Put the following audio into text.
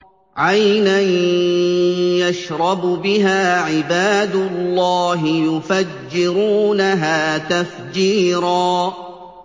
عَيْنًا يَشْرَبُ بِهَا عِبَادُ اللَّهِ يُفَجِّرُونَهَا تَفْجِيرًا